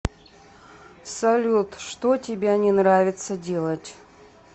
салют что тебя не нравится делать